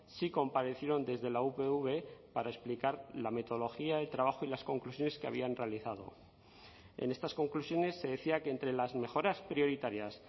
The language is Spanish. sí comparecieron desde la upv para explicar la metodología el trabajo y las conclusiones que habían realizado en estas conclusiones se decía que entre las mejoras prioritarias